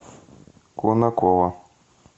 конаково